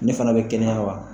Ne fana bɛ kɛnɛya wa?